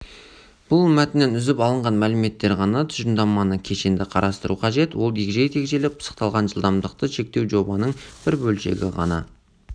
бұл мәтіннен үзіп алынған мәліметтер ғана тұжырымдаманы кешенді қарастыру қажет ол егжей-тегжейлі пысықталған жылдамдықты шектеу жобаның бір бөлшегі ғана